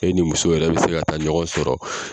E ni muso yɛrɛ be se ka taa ɲɔgɔn sɔrɔ